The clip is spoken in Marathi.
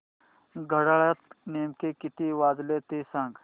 घड्याळात नेमके किती वाजले ते सांग